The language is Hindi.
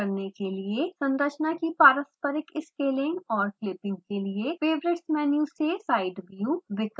संरचना की पारस्परिक स्केलिंग और क्लिपिंग के लिए: favorites menu से side view विकल्प का उपयोग करें